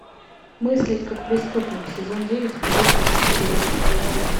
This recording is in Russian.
мыслить как преступник сезон девять эпизод тридцать четыре